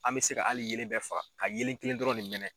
An bɛ se ka hali yelen bɛɛ faga ka yelen kelen dɔrɔn ne mɛnɛn.